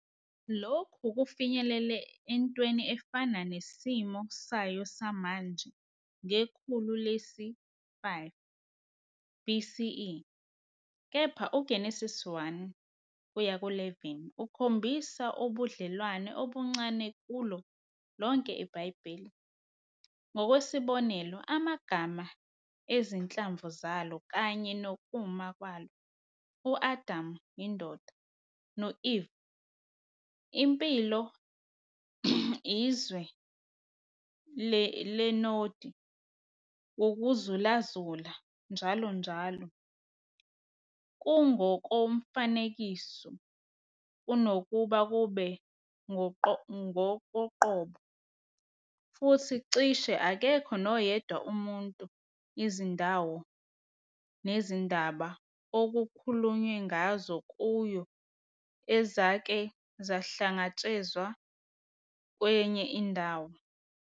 Lokhu kufinyelele entweni efana nesimo sayo samanje ngekhulu lesi-5 BCE, kepha uGenesise 1-11 ukhombisa ubudlelwano obuncane kulo lonke iBhayibheli- ngokwesibonelo, amagama ezinhlamvu zalo kanye nokuma kwalo - u-Adam, indoda, no-Eve, impilo, iZwe leNodi, "Ukuzulazula", njalonjalo - kungokomfanekiso kunokuba kube ngokoqobo, futhi cishe akekho noyedwa umuntu, izindawo nezindaba okukhulunywe ngazo kuyo ezake zahlangatshezwa kwenye indawo.